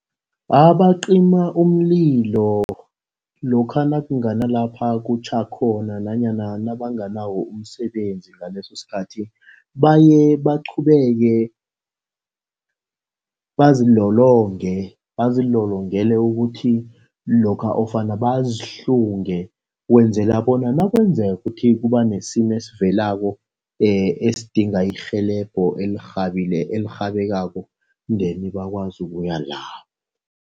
Abaqima umlilo lokha nakungana lapha kutjha khona nanyana nabanganawo umsebenzi ngaleso sikhathi baye baqhubeke bazilolonge. Bazilolongele ukuthi lokha ofana bazihlunge. Ukwenzela bona nakwenzeka kuthi kuba nesimo esivelako esidinga irhelebho elirhabileko elirhabekako then bakwazi ukuyalapho.